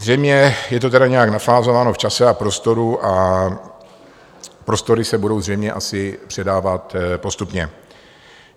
Zřejmě je to tedy nějak nafázováno v čase a prostoru a prostory se budou zřejmě asi předávat postupně.